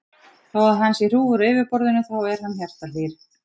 Þó að hann sé hrjúfur á yfirborðinu þá er hann hjartahlýr.